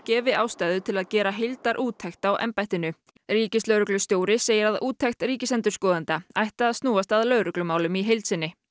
gefi ástæðu til að gera heildarúttekt á embættinu ríkislögreglustjóri segir að úttekt ríkisendurskoðanda ætti að snúa að lögreglumálum í heild sinni